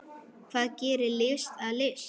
Hvað gerir list að list?